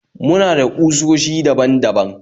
Muna da kusoshi daban daban